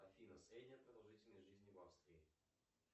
афина средняя продолжительность жизни в австрии